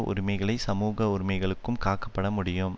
உரிமைகளை சமூக உரிமைகளும் காக்கப்பட முடியும்